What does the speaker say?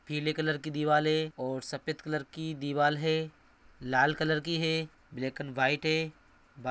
पीले कलर की दीवालें और सफेद कलर की दीवाल है। लाल कलर की है। ब्लैक एण्ड व्हाइट है। बा --